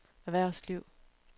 erhvervsliv